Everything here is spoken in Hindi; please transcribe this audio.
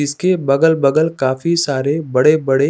इसके बगल बगल काफी सारे बड़े बड़े --